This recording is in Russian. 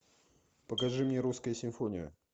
покажи мне русская симфония